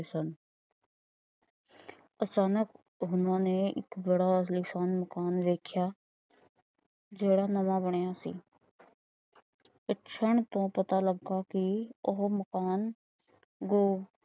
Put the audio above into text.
ਅਚਾਨਕ ਉਹਨਾਂ ਨੇ ਇੱਕ ਬੜਾ ਆਲੀਸ਼ਾਨ ਮਕਾਨ ਵੇਖਿਆ। ਜਿਹੜਾ ਨਵਾਂ ਬਣਿਆ ਸੀ। ਪੁੱਛਣ ਤੋ ਪਤਾ ਲੱਗਾ ਕਿ ਉਹ ਮਕਾਨ